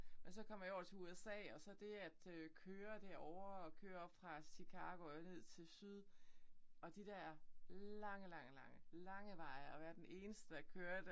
Og så kom jeg over til USA og så det at øh køre derovre og køre fra Chicago og ned til syd og de der lange lange lange lange veje og være den eneste der kørte